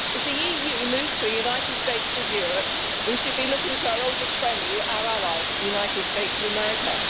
As the EU moves to a united states of Europe, we should be looking to our oldest friend, our ally, the United States of America.